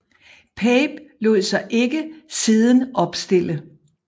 Pape lod sig ikke siden opstille